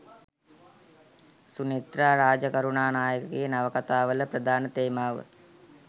සුනේත්‍රා රාජකරුණානායකගේ නවකථාවල ප්‍රධාන තේමාව